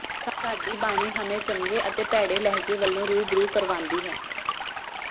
ਸਾਡੀ ਬਾਣੀ ਹਮੇ ਚੰਗੇ ਅਤੇ ਭੈੜੇ ਲਹਿਜੇ ਵਲੋਂ ਰੂਬਰੂ ਕਰਵਾਂਦੀ ਹੈ